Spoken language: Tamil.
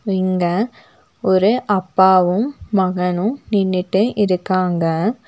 இங்கே ஒரு அப்பாவும் மகனும் நின்னுட்டு இருக்காங்க.